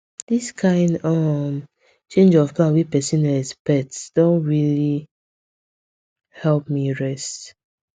this kind um change of plan wey person no expect don really help me rest